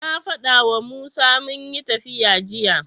Na faɗawa Musa munyi tafiya jiya.